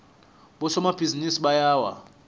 bosomabhizinisi bayawa